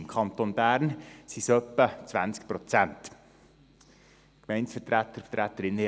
Im Kanton Bern sind es etwa 20 Prozent Gemeindevertreterinnen und -vertreter.